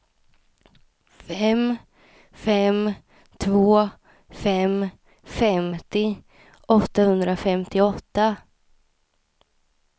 fem fem två fem femtio åttahundrafemtioåtta